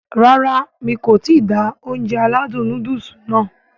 Rárá mi kò ti da Ounjẹ aládùn nóódùsì nàá